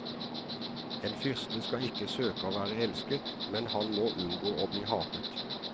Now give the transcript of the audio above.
En fyrste skal ikke søke å være elsket, men han må unngå å bli hatet.